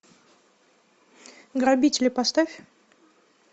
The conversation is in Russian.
грабители поставь